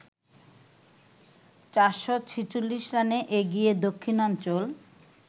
৪৪৬ রানে এগিয়ে দক্ষিণাঞ্চল